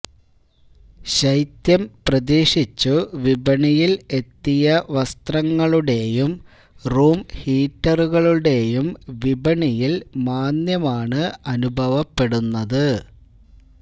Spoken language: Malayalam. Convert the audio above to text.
ശൈത്യം പ്രതീക്ഷിച്ചു വിപണിയിൽ എത്തിയ വസ്ത്രങ്ങളുടെയും റൂം ഹീറ്ററുകളുടെയും വിപണിയിൽ മാന്ദ്യമാണ് അനുഭവപ്പെടുന്നത്